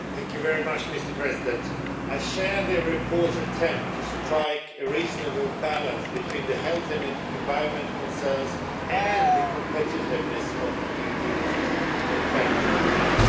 Mr President, I share the report's attempt to strike a reasonable balance between the health and environment concerns and the competitiveness of EU industry, manufacturing and jobs.